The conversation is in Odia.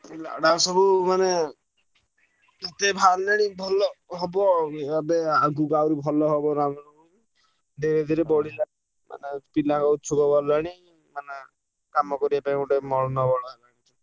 ମୁଁ କହିଲି ଆଡେ ଆଉ ସବୁ ମାନେ ଏତେ ବାହାରିଲାଣି ଭଲ ହବ ଆଉ ଏବେ ଆଗୁକୁ ଆହୁରି ଭଲ ହବ ରାମନବମୀ। ଧୀରେ ଧୀରେ ବଢିଲାଣି ମାନେ ପିଲା ଉଶ୍ଚୁକ ଗଲେଣି କାମ କରିବା ପାଇଁ ଗୋଟେ ମନୋବଳ